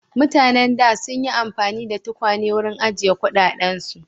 Mutanen da sun yi amfani da tukwane wurin ajiye kuɗaɗensu.